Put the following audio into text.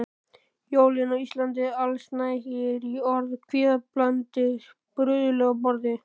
Jólin á Íslandi: Allsnægtir í orði, kvíðablandið bruðl á borði.